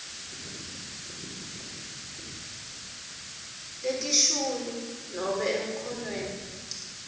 letishuyu nobe emkhonweni